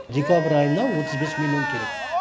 декабрь айына отыз бес миллион керек